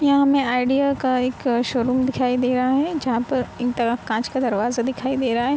यहाँ हमे आईडिया का एक शोरूम दिखाई दे रहा है जहाँ पर एक तरफ काँच का दरवाजे दिखाई दे रहा है |